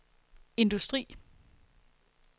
industri